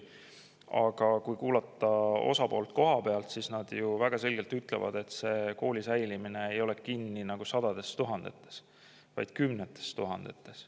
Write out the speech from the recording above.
Aga kui kuulata kohapealset osapoolt, siis nad väga selgelt ütlevad, et kooli säilimine ei ole kinni sadades tuhandetes, vaid kümnetes tuhandetes eurodes.